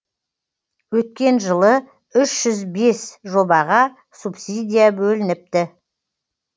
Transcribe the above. өткен жылы үш жүз бес жобаға субсидия бөлініпті